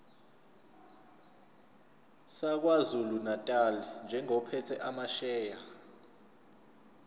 sakwazulunatali njengophethe amasheya